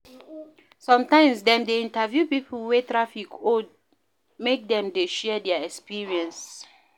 Sometimes, dem dey interview pipo wey traffic hold make dem dey share their experience